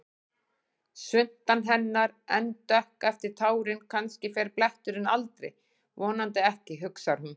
Svuntan hennar enn dökk eftir tárin, kannski fer bletturinn aldrei, vonandi ekki, hugsar hún.